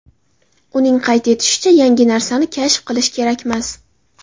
Uning qayd etishicha, yangi narsani kashf qilish kerakmas.